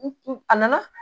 N a nana